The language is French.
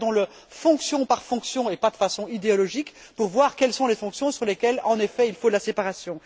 Regardons le fonction par fonction et pas de façon idéologique, pour voir quelles sont les fonctions sur lesquelles, en effet, il faut de la séparation.